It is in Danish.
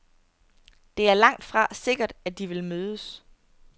Det er langtfra sikkert, at de vil mødes.